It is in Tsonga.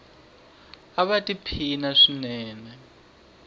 ava ti phina swinene